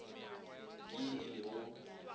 ke ye e le go